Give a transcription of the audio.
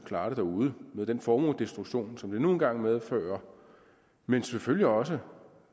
klare det derude med den formuedestruktion som det nu engang medfører men selvfølgelig også